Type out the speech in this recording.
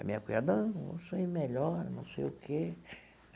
A minha cunhada não isso aí melhora, não sei o quê.